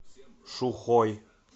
шухой